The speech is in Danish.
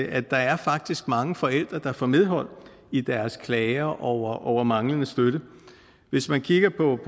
at der faktisk er mange forældre der får medhold i deres klager over over manglende støtte hvis man kigger på